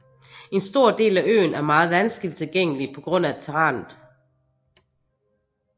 En stor del af øen er meget vanskelig tilgængelig på grund af terrænet